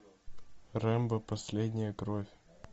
рэмбо последняя кровь